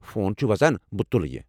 Phone چُھ وزان ، بہٕ تُلٕہ یہِ۔